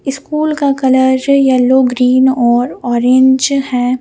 School का colour जो yellow green और ऑरेंज है।